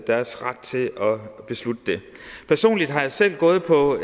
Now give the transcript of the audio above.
deres ret at beslutte det personligt har jeg selv gået på